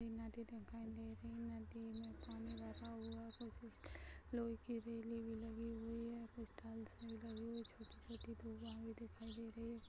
नदी दिखाई दे रही है नदी में पानी बहता हुआ कुछ लोहे की रेली भी लगी हुई है कुछ टाइल्स लगी हुई छोटी छोटी